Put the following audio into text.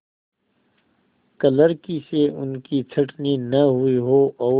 क्लर्की से उनकी छँटनी न हुई हो और